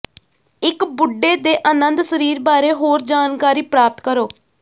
ਇਕ ਬੁੱਢੇ ਦੇ ਅਨੰਦ ਸਰੀਰ ਬਾਰੇ ਹੋਰ ਜਾਣਕਾਰੀ ਪ੍ਰਾਪਤ ਕਰੋ